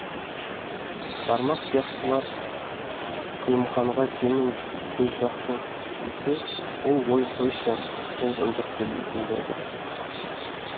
бармақ сияқтылар күлімханға сенің көзжақсың десе ол ой қойшы сол ынжықты дейтін болды